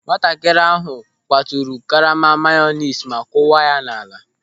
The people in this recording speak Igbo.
Nwatakịrị ahụ kwaturu karama mayonis ma kuwa ya n'ala.